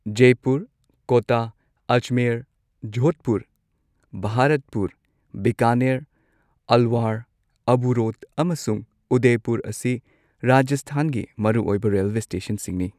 Jaipur, Kota, Ajmer, Jodhpur, Bharatpur, Bikaner, Alwar, Abu road ꯑꯃꯁꯨꯡ ꯎꯗꯦꯄꯨꯔ ꯑꯁꯤ ꯔꯥꯖꯁꯊꯥꯟꯒꯤ ꯃꯔꯨꯑꯣꯏꯕ ꯔꯦꯜꯋꯦ ꯁ꯭ꯇꯦꯁꯟꯁꯤꯡꯅꯤ꯫